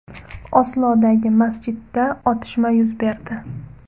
Oslodagi masjidda otishma yuz berdi.